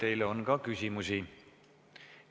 Teile on ka küsimusi.